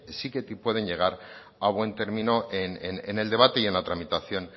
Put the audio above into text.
sí que te pueden llegar a buen término en el debate y en la tramitación